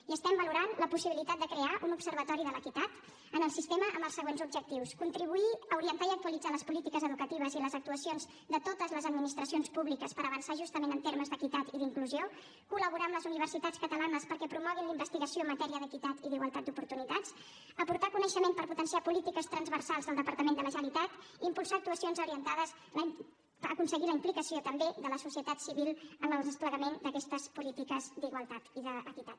i estem valorant la possibilitat de crear un observatori de l’equitat en el sistema amb els següents objectius contribuir a orientar i a actualitzar les polítiques educatives i les actuacions de totes les administracions públiques per avançar justament en termes d’equitat i d’inclusió col·laborar amb les universitats catalanes perquè promoguin la investigació en matèria d’equitat i d’igualtat d’oportunitats aportar coneixement per potenciar polítiques transversals al departament de la generalitat i impulsar actuacions orientades a aconseguir la implicació també de la societat civil en el desplegament d’aquestes polítiques d’igualtat i d’equitat